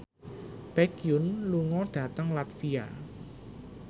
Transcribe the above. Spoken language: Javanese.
Baekhyun lunga dhateng latvia